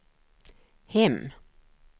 hem